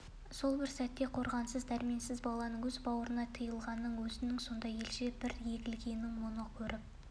сол бір сәтті қорғансыз дәрменсіз баланың өз бауырына тығылғанын өзінің сонда елжіреп бір егілгенін мұны көріп